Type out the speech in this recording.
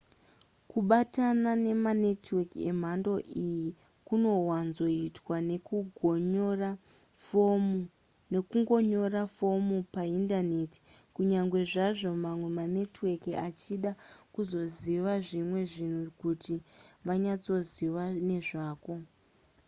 kubatana nemanetwork emhando iyi kunowanzoitwa nekungonyora fomu paindaneti kunyange zvazvo mamwe manetwork achida kuzoziva zvimwe zvinhu kuti vanyatsoziva nezvako